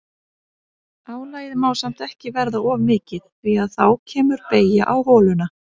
Álagið má samt ekki verða of mikið því að þá kemur beygja á holuna.